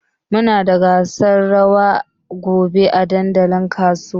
Muna da gasar rawa gobe a dandalin kasuwa.